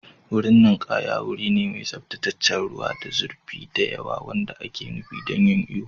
Wurin ninkaya wuri ne mai tsaftataccen ruwa, ba zurfi da yawa wanda ake nufi don yin iyo.